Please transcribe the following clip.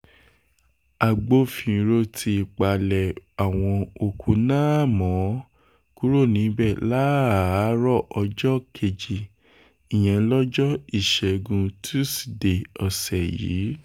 agbófinró ti palẹ̀ àwọn òkú náà mọ́ kúrò níbẹ̀ láàárọ̀ ọjọ́ kejì ìyẹn lọ́jọ́ ìṣẹ́gun tusidee ọ̀sẹ̀ yìí